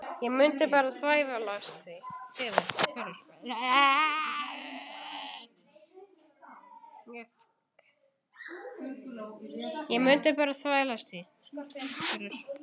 Ég mundi bara þvælast fyrir.